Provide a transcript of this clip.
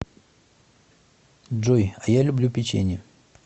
джой а я люблю печенье